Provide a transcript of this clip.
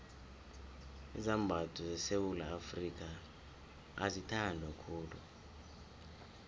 izambatho sesewula afrika azithandwa khulu